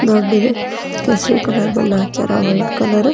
ದೊಡ್ಡದು ಕೇಸರಿ ಕಲರ್ ಬಣ್ಣ ಹಚ್ಚರ ವೈಟ್ ಕಲರ್ --